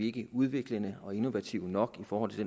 ikke udviklende og innovative nok i forhold til